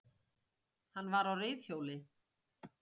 Hann var á reiðhjóli